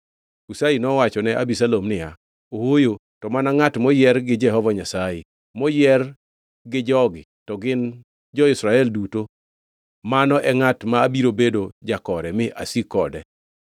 Hushai nowachone Abisalom niya, “Ooyo to mana ngʼat moyier gi Jehova Nyasaye, moyier gi jogi to gi jo-Israel duto mano e ngʼat mabiro bedo jakore mi asik kode.